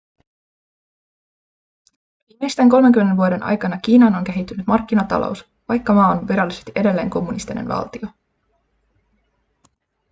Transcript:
viimeisten 30 vuoden aikana kiinaan on kehittynyt markkinatalous vaikka maa on virallisesti edelleen kommunistinen valtio